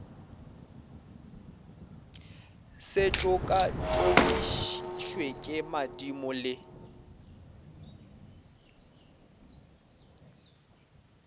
se tšokatšokišwe ke madimo le